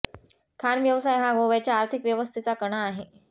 खाण व्यवसाय हा गोव्याच्या आर्थिक व्यवस्थेचा कणा आहे